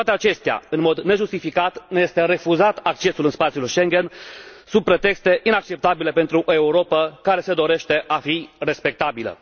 Cu toate acestea, în mod nejustificat, ne este refuzat accesul în spațiul Schengen, sub pretexte inacceptabile pentru o Europă care se dorește a fi respectabilă.